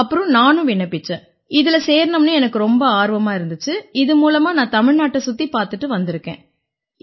அப்புறம் நானும் விண்ணப்பிச்சேன் இதில சேரணும்னு எனக்கு ரொம்ப ஆர்வமா இருந்திச்சு இது மூலமா நான் தமிழ்நாட்டைச் சுத்திப் பார்த்துட்டு வந்திருக்கேன்